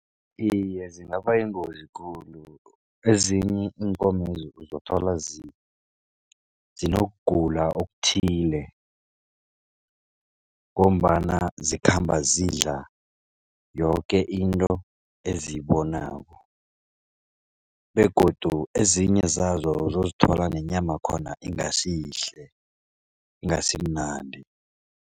Iye, zingabayingozi khulu ezinye iinkomezi uzothola zinokugula okuthile. Ngombana zikhamba zidla yoke into eziyibonako begodu ezinye zazo uzozithola nenyama khona ingasiyihle ingasimnandi.